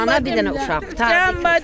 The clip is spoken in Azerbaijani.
Bir dənə ana, bir dənə uşaq, qurtardı getdi.